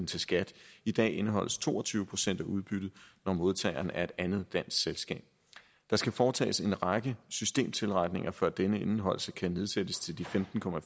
til skat i dag indeholdes to og tyve procent af udbyttet når modtageren er et andet dansk selskab der skal foretages en række systemtilretninger før denne indeholdelse kan nedsættes til de femten